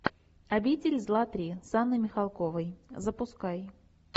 обитель зла три с анной михалковой запускай